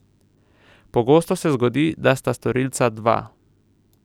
Pogosto se zgodi, da sta storilca dva.